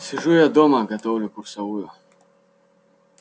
сижу я дома готовлю курсовую